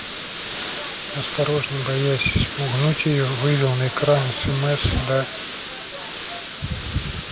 осторожно боясь спугнуть её вывел на экране смс да